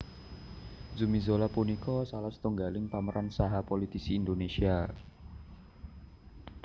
Zumi Zola punika salah setunggaling pemeran saha politisi Indonésia